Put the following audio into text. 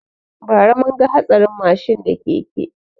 Ba ra mun ga hatsarin mashin da keke